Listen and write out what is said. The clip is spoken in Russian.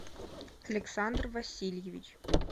александр васильевич